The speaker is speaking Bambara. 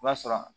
O b'a sɔrɔ